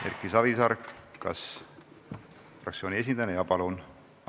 Erki Savisaar, kas fraktsiooni esindajana?